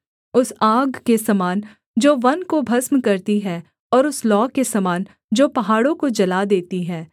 उस आग के समान जो वन को भस्म करती है और उस लौ के समान जो पहाड़ों को जला देती है